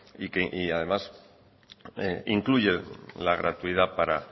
y que además incluye la gratuidad por